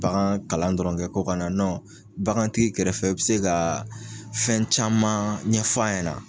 Bagan kalan dɔrɔnkɛ ko kɔnɔna na bagantigi kɛrɛ fɛ i bɛ se ka fɛn caman ɲɛf'a ɲɛna.